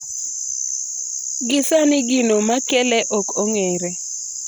Gi sani gino makele ok ong'ere